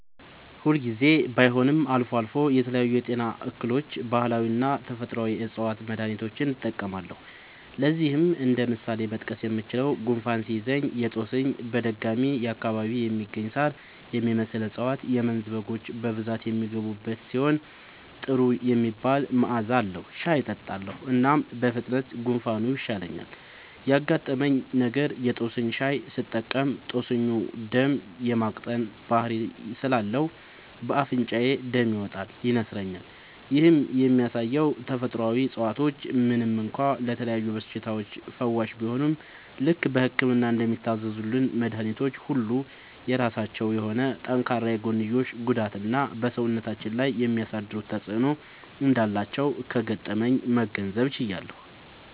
ሁል ጊዜ ባይሆንም አልፎ አልፎ ለተለያዩ የጤና እክሎች ባህላዊና ተፈጥአዊ የ ዕፅዋት መድሀኒቶችን እጠቀማለሁ። ለዚህም እንደ ምሳሌ መጥቀስ የምችለው፣ ጉንፋን ሲይዘኝ የ ጦስኝ (በደጋማ አካባቢ የሚገኝ ሳር የሚመስል እፀዋት - የመንዝ በጎች በብዛት የሚመገቡት ሲሆን ጥሩ የሚባል መዐዛ አለዉ) ሻይ እጠጣለሁ። እናም በፍጥነት ጉንፋኑ ይሻለኛል። ያጋጠመኝ ነገር:- የ ጦስኝ ሻይ ስጠቀም ጦስኙ ደም የ ማቅጠን ባህሪ ስላለው በ አፍንጫዬ ደም ይመጣል (ይነስረኛል)። ይህም የሚያሳየው ተፈጥሮአዊ እፀዋቶች ምንም እንኳ ለተለያዩ በሽታዎች ፈዋሽ ቢሆኑም፣ ልክ በህክምና እንደሚታዘዙልን መድኃኒቶች ሁሉ የራሳቸው የሆነ ጠንካራ የጎንዮሽ ጉዳትና በ ሰውነታችን ላይ የሚያሳድሩት ተጵዕኖ እንዳላቸው ከገጠመኜ መገንዘብ ችያለሁ።